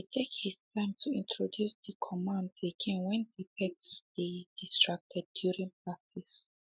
he take he time to introduce the commands again when the pet dey distracted during practice